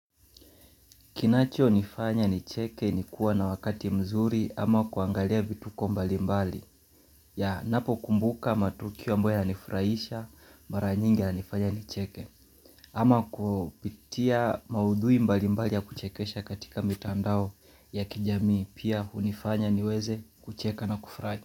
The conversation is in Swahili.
Kinachonifanya nicheke ni kuwa na wakati mzuri ama kuangalia vituko mbalimbali. Ninapokumbuka matukio ambayo yalinifurahisha mara nyingi inanifanya nicheke. Ama kupitia maudhui mbali mbali ya kuchekesha katika mitandao ya kijamii pia hunifanya niweze kucheka na kufurahi.